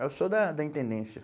Eu sou da da Intendência.